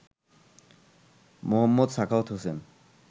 Md. Sakhawat Hossain